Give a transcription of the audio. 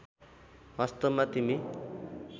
वास्तवमा तिमी